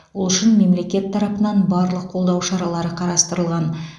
ол үшін мемлекет тарапынан барлық қолдау шаралары қарастырылған